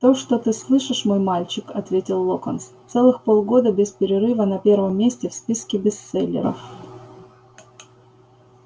то что ты слышишь мой мальчик ответил локонс целых полгода без перерыва на первом месте в списке бестселлеров